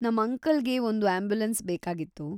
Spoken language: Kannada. ನಮ್ ಅಂಕಲ್‌ಗೆ ಒಂದು ಆಂಬ್ಯುಲೆನ್ಸ್‌ ಬೇಕಾಗಿತ್ತು.